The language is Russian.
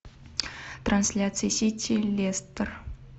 трансляция сити лестер